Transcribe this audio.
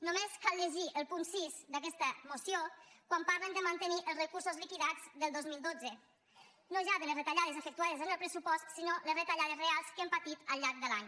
només cal llegir el punt sis d’aquesta moció quan parlen de mantenir els recursos liquidats del dos mil dotze no ja de les retallades efectuades en el pressupost sinó les retallades reals que hem patit al llarg de l’any